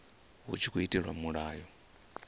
hu tshi tkhou itelwa mulayo